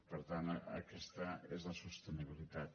per tant aquesta és la sostenibilitat